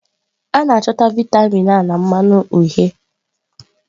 A na-achọta vịatamin A na mmanụ uhie.